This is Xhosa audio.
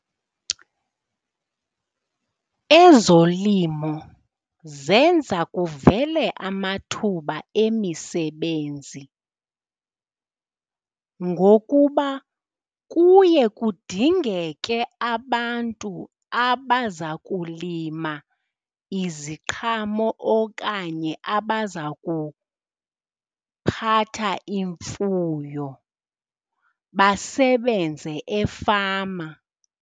Ezolimo zenza kuvele amathuba emisebenzi, ngokuba kuye kudingeke abantu abaza kulima iziqhamo okanye abaza kuphatha imfuyo, basebenze efama.